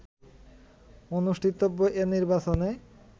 অনুষ্ঠিতব্য এ নির্বাচনে